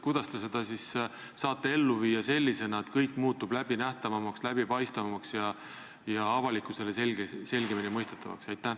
Kuidas te seda siis saate ellu viia sellisena, et kõik muutub läbinähtavamaks, läbipaistvamaks ja avalikkusele selgemini mõistetavaks?